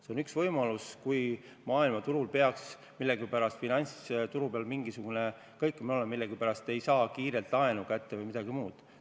See on üks võimalus juhuks, kui maailma finantsturul peaks millegipärast mingisugune kõikumine toimuma ja millegipärast ei saa laenu kiiresti kätte või midagi muud.